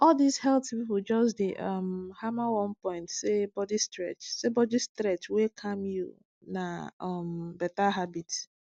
all these health people just dey um hammer one point say body stretch say body stretch wey calm you na um better habit